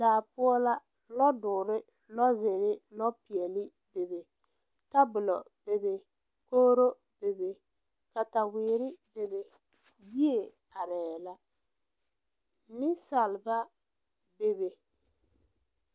Daa poɔ la lɔdɔɔre lɔzeere lɔpeɛle bebe tabolɔ bebe kogro bebe katawiire bebe yie arɛɛ la neŋsalba bebe.